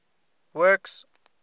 works